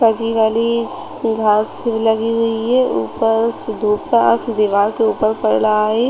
हरी-भरी घास लगी हुई है ऊपर से धूप का अक्श दीवाल के ऊपर पड़ रहा है।